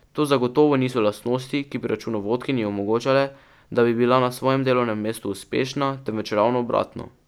To zagotovo niso lastnosti, ki bi računovodkinji omogočale, da bi bila na svojem delovnem mestu uspešna, temveč ravno obratno.